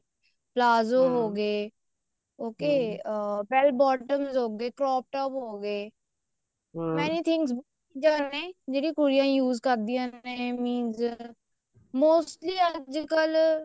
palazzo ਹੋਗੇ okay bottom ਹੋਗੇ crop top ਹੋਗੇ anything's ਨੇ ਜਿਹੜੀ ਕੁੜੀਆਂ use ਕਰਦੀਆਂ ਨੇ means mostly ਅੱਜਕਲ